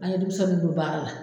An ye denmisɛnninw don baara la.